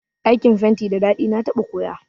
Aikin fenti da daɗi, na taɓa koya